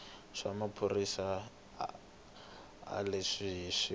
xa maphorisa xa le kusuhi